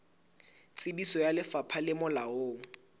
tsebiso ya lefapha le molaong